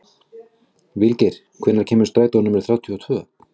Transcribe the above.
Vilgeir, hvenær kemur strætó númer þrjátíu og tvö?